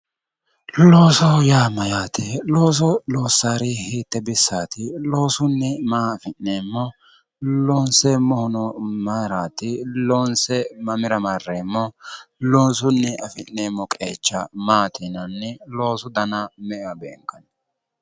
loosoho yaa mayyaate? looso loossannori hiitte bissaati? loosunni maa afi'neemmo? loonseemmohuno mayiraati? loonse mamira marreemmo? loosunni afi'neemmo qeecha maati yinayi? loosu dana me''ewa beenkanni?